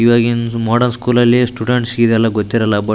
ಈವಾಗ modern school ಅಲ್ಲಿ students ಗೆ ಇವೆಲ್ಲ ಗೊತ್ತಿರಲ್ಲ --